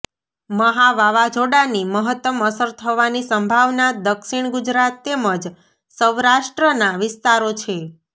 મહા વાવાઝોડાની મહતમ અસર થવાની સંભાવના દક્ષિણ ગુજરાત તેમજ સૌરાષ્ટ્રનાં વિસ્તારો છે